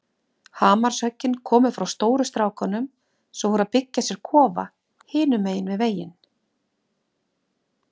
Hamarshöggin komu frá stóru strákunum sem voru að byggja sér kofa hinum megin við veginn.